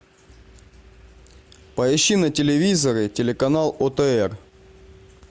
поищи на телевизоре телеканал отр